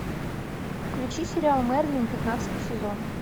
включи сериал мерлин пятнадцатый сезон